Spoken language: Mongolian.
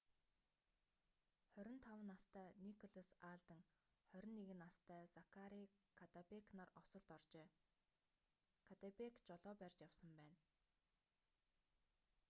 25 настай николас алден 21 настай закари каддебэк нар осолд оржээ каддебэк жолоо барьж явсан байна